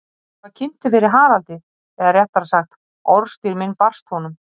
Ég var kynntur fyrir Haraldi, eða réttara sagt, orðstír minn barst honum.